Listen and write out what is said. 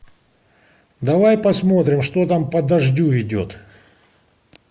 давай посмотрим что там по дождю идет